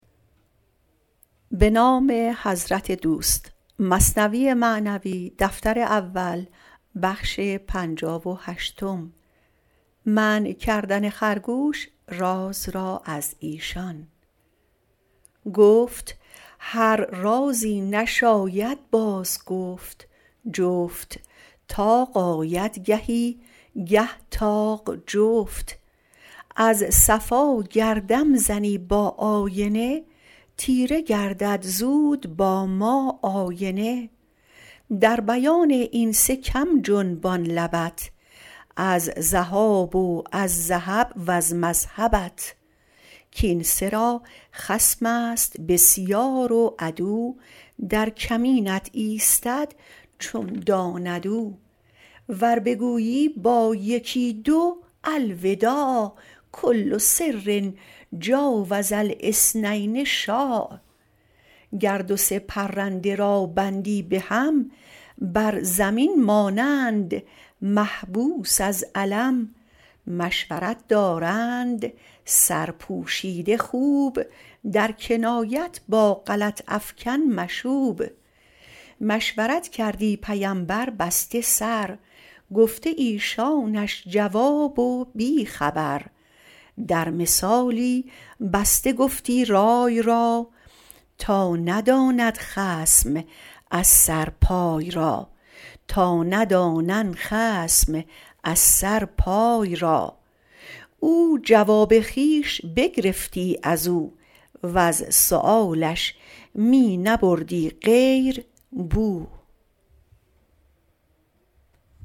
گفت هر رازی نشاید باز گفت جفت طاق آید گهی گه طاق جفت از صفا گر دم زنی با آینه تیره گردد زود با ما آینه در بیان این سه کم جنبان لبت از ذهاب و از ذهب وز مذهبت کین سه را خصمست بسیار و عدو در کمینت ایستد چون داند او ور بگویی با یکی دو الوداع کل سر جاوز الاثنین شاع گر دو سه پرنده را بندی بهم بر زمین مانند محبوس از الم مشورت دارند سرپوشیده خوب در کنایت با غلط افکن مشوب مشورت کردی پیمبر بسته سر گفته ایشانش جواب و بی خبر در مثالی بسته گفتی رای را تا ندانند خصم از سر پای را او جواب خویش بگرفتی ازو وز سؤالش می نبردی غیر بو